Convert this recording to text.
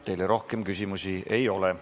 Teile rohkem küsimusi ei ole.